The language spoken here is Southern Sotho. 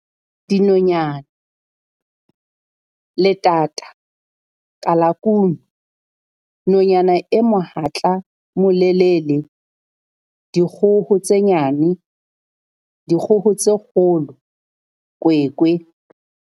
Dinonyana- Letata, kalakunu, nonyana e mohatla molelele, dikgoho tse nyane, dikgoho tse kgolo, kwekwe